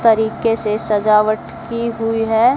तरीके से सजावट की हुई है।